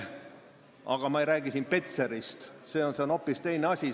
Ma ei räägi Petserist, see on hoopis teine asi.